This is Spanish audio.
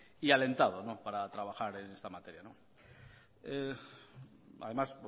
y alentado para trabajar en esta materia además